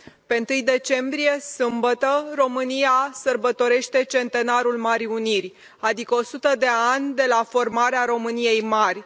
La 1 decembrie, sâmbătă, România sărbătorește Centenarul Marii Uniri, adică o sută de ani de la formarea României Mari.